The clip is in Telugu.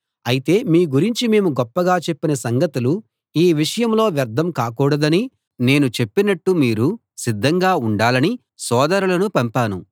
అయితే మీ గురించి మేము గొప్పగా చెప్పిన సంగతులు ఈ విషయంలో వ్యర్థం కాకూడదనీ నేను చెప్పినట్టు మీరు సిద్ధంగా ఉండాలనీ సోదరులను పంపాను